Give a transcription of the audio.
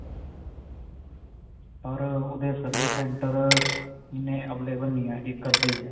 ਪਰ ਓਹਦੇ service center ਇੰਨੇ available ਨਹੀਂ ਹੈ. ਇੱਕ-ਅੱਧਾ ਹੀ ਹੈ.